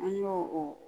An y'o o